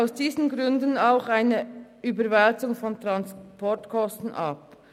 Aus diesen Gründen lehnen wir auch eine Überwälzung von Transportkosten ab.